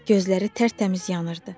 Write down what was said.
Gözləri tərtəmiz yanırdı.